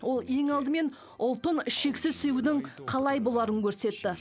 ол ең алдымен ұлтын шексіз сүюдің қалай боларын көрсетті